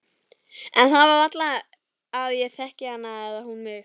En það er varla að ég þekki hana eða hún mig.